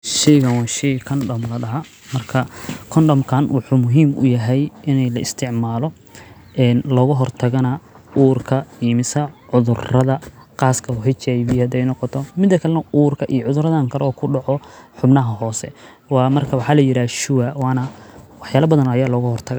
Sheygan wa shey kondom loodaha uu wxu ufican yahay ini laitiscmalo oo uur logahortago iyo cudurada qaska ee hivga nooqto mida kale urka iyo cudurada kale ee kudoco xubnaha hoose wa marka waxa layirahda sure marka waxaya badan aya logahortaga.